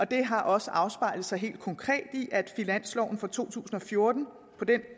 det har også afspejlet sig helt konkret i at der på finansloven for to tusind og fjorten på den